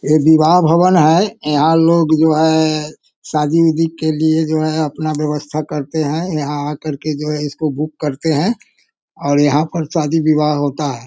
ये विवाह भवन है। यहाँ लोग जो है शादी उदी के लिए जो है अपना व्यवस्था करते हैं। यहाँ आ कर के जो है इसको बुक करते हैं और यहाँ पे शादी विवाह होता है।